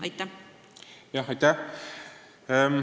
Aitäh!